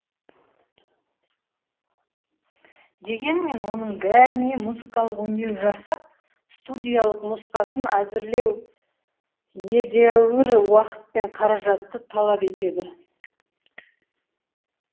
дегенмен оның бәріне музыкалық өңдеу жасап студиялық нұсқасын әзірлеу едәуір уақыт пен қаражатты талап етеді